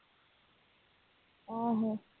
ਆਹੋ